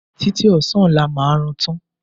Títí ọ̀sán ọlá máa rán an tán